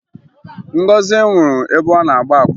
Ngọzị nwụrụ ebe ọ na-agba akwụna